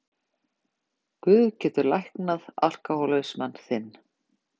Guð getur læknað alkohólisma þinn.